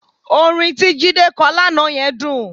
Orin tí Jídé kọ lánàá yẹn dùn